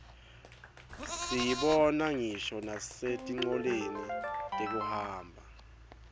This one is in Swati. siyibona ngisho nasetincoleni tekuhamba